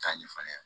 K'a ɲɛfɔ ne ɲɛna